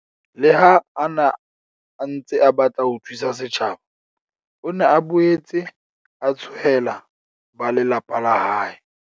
Le ha a ne a ntse a batla ho thusa setjhaba, o ne a boetse a tshohela ba lelapa la hae.